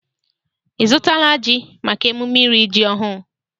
Ị zụtala ji maka emume iri ji ọhụụ?